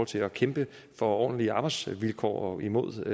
til at kæmpe for ordentlige arbejdsvilkår og imod